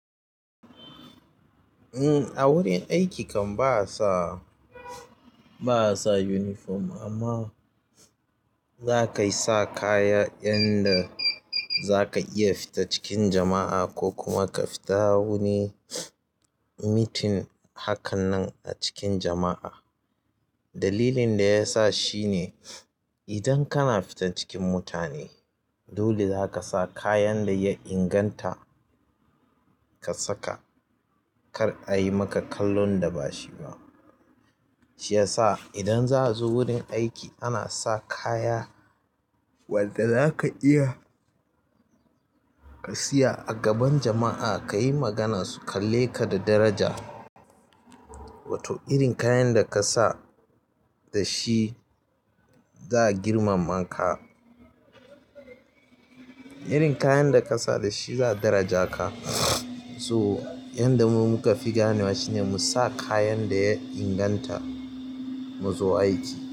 A wurin aiki kam ba'asa uniform amma za kayi sa kaya yanda za ka iya fita cikin jama'a ko kuma ka fita wani meeting hakanan a cikin jama'a. Dalilin da ya sa shine, idan kana fita cikin mutane, dole za kasa kayan da ya inganta ka saka kar ayi maka kallon da bashi ba shiyasa idan za'azo wurin aiki ana sa kaya wanda zaka iya ka tsaya a gaban jama'a ka yi magana su kalle ka da daraja. Wato irin kayan da kasa dashi za'a girmama ka. Irin kayan da ka sa da shi za a daraja ka. To yanda mu muka fi ganewa shine, mu sa kayan da ya inganta mu zo aiki.